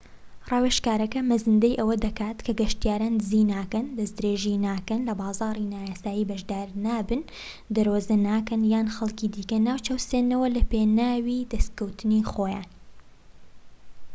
ڕاوێژەکە مەزەندەی ئەوە دەکات کە گەشتیاران دزی ناکەن دەست درێژی ناکەن لە بازاڕی نایاسایی بەشدار نابن دەرۆزە ناکەن یان خەڵکی دیکە ناچەوسێننەوە لە پێناوی دەسکەوتی خۆیان